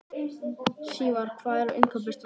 Sívar, hvað er á innkaupalistanum mínum?